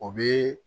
O bɛ